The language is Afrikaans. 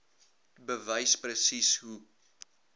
bewys presies hoe